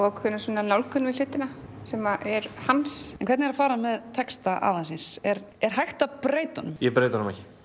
ákveðna svona nálgun við hlutina sem er hans en hvernig er að fara svona með texta afa síns er er hægt að breyta honum ég breyti honum ekki